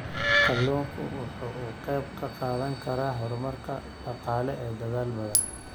Kalluunku waxa uu qayb ka qaadan karaa horumarka dhaqaale ee dalal badan.